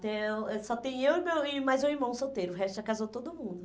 Não, ãh só tem eu e meu e mais um irmão solteiro, o resto já casou todo mundo.